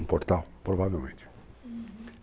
Um portal, provavelmente. Uhum.